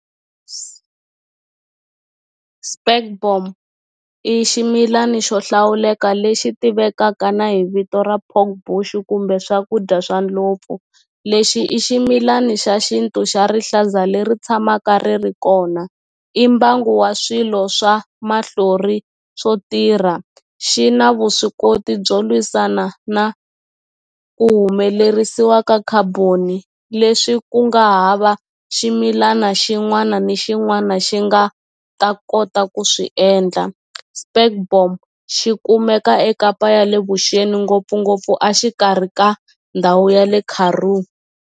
spekboom i ximilani xo hlawuleka lexi tivekaka na hi vito ra pork bush kumbe swakudya swa ndlopfu lexi i ximilani xa xintu xa rihlaza leri tshamaka ri ri kona i mbangu wa swilo swa mahlori swo tirha xi na vuswikoti byo lwisana na ku humelerisiwa ka carbon-i leswi ku nga hava ximilana xin'wana na xin'wana xi nga ta kota ku swi endla spekboom xi kumeka ekapa ya le vuxeni ngopfungopfu a xikarhi ka ndhawu ya le Karoo.